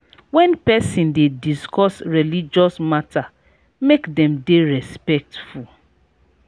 when person dey discuss religious matter make dem dey respectful